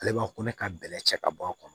Ale b'a ko ne ka bɛlɛ cɛ ka bɔ a kɔnɔ